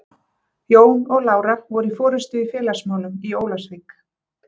Jón og Lára voru í forystu í félagsmálum í Ólafsvík.